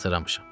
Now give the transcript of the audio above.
Hazırlamışam.